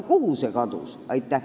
Kuhu see kadus?